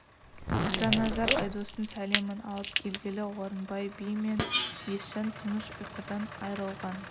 жанназар айдостың сәлемін алып келгелі орынбай би мен есжан тыныш ұйқыдан айрылған